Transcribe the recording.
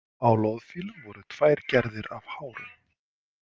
Á loðfílum voru tvær gerðir af hárum.